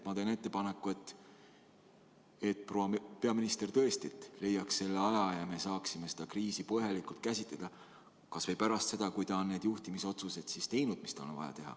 Ma teen ettepaneku, et proua peaminister tõesti leiaks selle aja ja me saaksime seda kriisi põhjalikult käsitleda kas või pärast seda, kui ta on need juhtimisotsused teinud, mis tal on vaja teha.